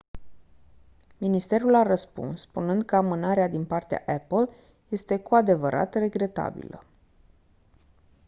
ministerul a răspuns spunând că amânarea din partea apple este «cu adevărat regretabilă».